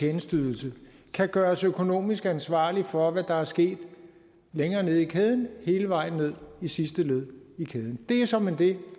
tjenesteydelse kan gøres økonomisk ansvarlig for hvad der er sket længere nede i kæden hele vejen ned i sidste led i kæden det er såmænd det